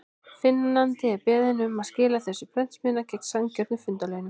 Finnandi er beðinn um að skila þessu í prentsmiðjuna, gegn sanngjörnum fundarlaunum.